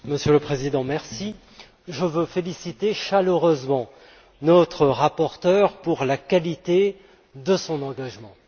Monsieur le Président, je veux féliciter chaleureusement notre rapporteur pour la qualité de son engagement.